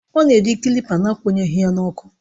Ọ na-eji kilipa na-akwụnyeghị ya n'ọkụ